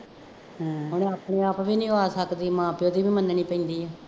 ਹੂੰ ਹੁਣ ਆਪਣੇ ਆਪ ਵੀ ਨਹੀਂ ਉਹ ਆ ਸਕਦੀ, ਮਾਂ ਪਿਉ ਦੀ ਵੀ ਮੰਨਣੀ ਪੈਂਦੀ ਹੈ